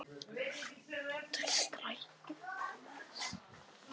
Stapi, hvernig kemst ég þangað?